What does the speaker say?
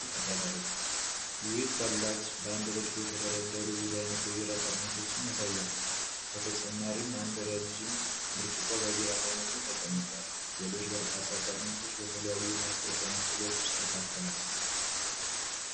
ይህ ኮላጅ በአንድ ረድፍ የተደረደሩ ብዙ አይነት የቢራ ጠርሙሶችን ያሳያል። በተጨማሪም፣ አንድ ረዥም ብርጭቆ በቢራ ተሞልቶ ተቀምጧል፣ ሌሎች በርካታ ጠርሙሶች በተለያዩ የማስታወቂያ ምስሎች ውስጥ ተካተዋል።